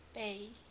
bay